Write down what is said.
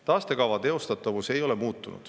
Taastekava teostatavus ei ole muutunud.